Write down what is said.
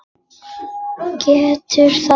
Getur þetta ekki.